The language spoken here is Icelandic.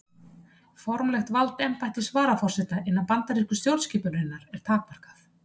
Formlegt vald embættis varaforseta innan bandarísku stjórnskipunarinnar er takmarkað.